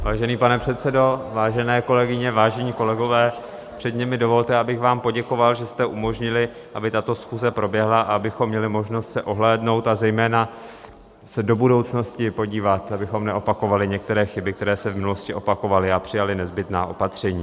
Vážený pane předsedo, vážené kolegyně, vážení kolegové, předně mi dovolte, abych vám poděkoval, že jste umožnili, aby tato schůze proběhla, abychom měli možnost se ohlédnout, a zejména se do budoucnosti podívat, abychom neopakovali některé chyby, které se v minulosti opakovaly, a přijali nezbytná opatření.